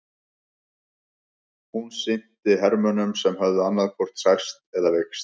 Hún sinnti hermönnum sem höfðu annaðhvort særst eða veikst.